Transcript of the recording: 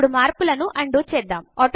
ఇప్పుడు మార్పులను undo చేద్దాము